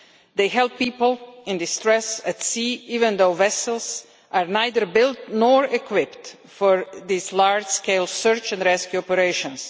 They help people in distress at sea even though vessels are neither built nor equipped for these large scale search and rescue operations